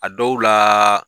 A dɔw la